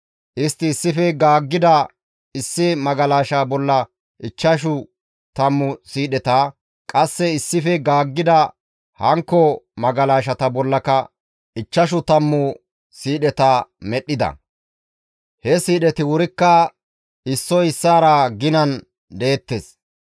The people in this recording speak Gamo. Istti issife gaaggida issi magalasha bolla ichchashu tammu siidheta, qasse issife gaaggida hankko magalashata bollaka ichchashu tammu siidheta medhdhida. He siidheti wurikka issoy issaara ginan deettes.